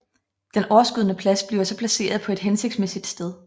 Den overskydende plads bliver så placeret på et hensigtsmæssigt sted